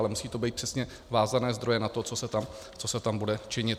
Ale musí to být přesně vázané zdroje na to, co se tam bude činit.